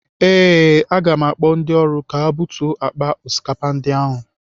Ee, aga m akpọ ndị ọrụ ka ha butuo akpa osikapa ndị ahụ.